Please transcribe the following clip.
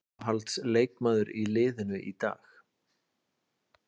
Uppáhalds leikmaður í liðinu í dag?